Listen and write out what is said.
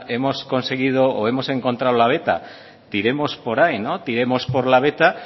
hemos conseguido o hemos encontrado la veta iremos por ahí no tiremos por la veta